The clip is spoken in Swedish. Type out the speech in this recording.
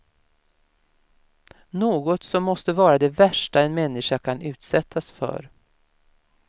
Något som måste vara det värsta en människa kan utsättas för.